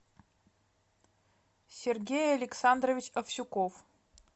сергей александрович авсюков